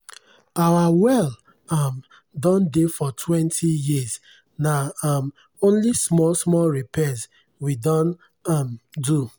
our well um done dey for twenty years na um only small small repairs we don um do.